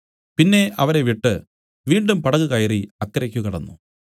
പിന്നെ അവരെ വിട്ടു വീണ്ടും പടക് കയറി അക്കരയ്ക്ക് കടന്നു